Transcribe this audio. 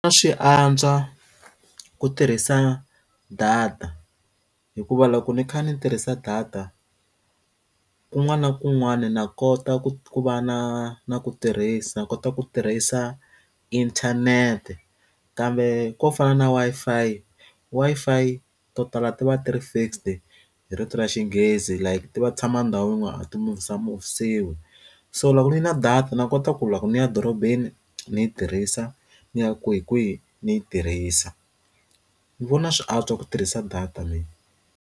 A swi antswa ku tirhisa data hikuva loko ni kha ni tirhisa data kun'wana na kun'wana na kota ku ku va na na ku tirhisa kota ku tirhisa inthanete kambe ko fana na Wi-Fi, Wi-Fi to tala ti va ti ri fixed hi rito ra Xinghezi like ti va tshama ndhawu yin'wana a ti muvisa muvisiwe so loko ni na data na kota ku loko ni ya dorobeni ni yi tirhisa ni ya kwihikwihi ni yi tirhisa ni vona swi antswa ku tirhisa data mina.